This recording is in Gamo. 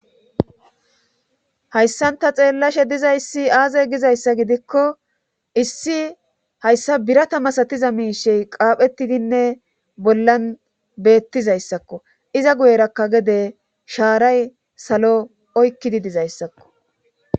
Hayssanta xeellashe dizayssi aaze gizayssa gidikko issi hayssa birata masatiza miishey qaaphettidinne bollan beettizayssakko iza guyerakka gede shaaray salo oykkidi dizayssakko.